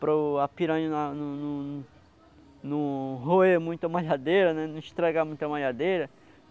Para o piranha na não não não roer muito a malhadeira, não estragar muito a malhadeira.